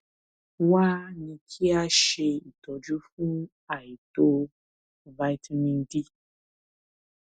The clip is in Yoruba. wá a ní kí a ṣe ìtọjú fún àìtó vitamin d